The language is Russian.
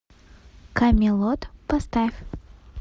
камелот поставь